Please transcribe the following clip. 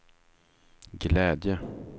glädje